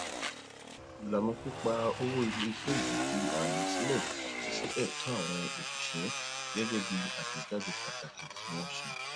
ilana pípa owó iléiṣẹ yìí fi ààyè sí ẹtọ àwọn oṣiṣẹ gẹgẹ bí àtẹjáde pataki tí wọn ṣe